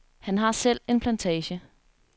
Han har selv en plantage.